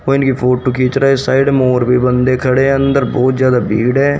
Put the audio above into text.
कोई इनकी फोटो खींच रहा है साइड में और भी बंदे खड़े अंदर बहुत ज्यादा भीड़ है।